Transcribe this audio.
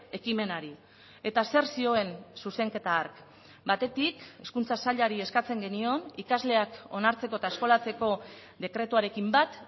ekimenari eta zer zioen zuzenketa hark batetik hezkuntza sailari eskatzen genion ikasleak onartzeko eta eskolatzeko dekretuarekin bat